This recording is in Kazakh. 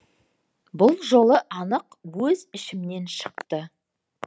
бұл жолы анық өз ішімнен шықты